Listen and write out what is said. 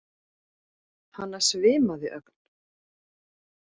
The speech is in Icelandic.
Hana svimaði ögn.